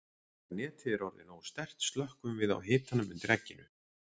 Þegar netið er orðið nógu sterkt slökkvum við á hitanum undir egginu.